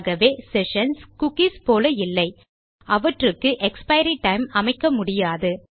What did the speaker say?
ஆகவே sessions cookies போல இல்லை அவற்றுக்கு எக்ஸ்பைரி டைம் அமைக்க முடியாது